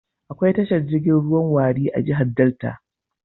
Akwai tashar jirgin ruwan Warri a jihar Delta.